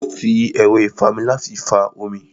Ó fi ẹ̀rọ́ ìfami láti fa omi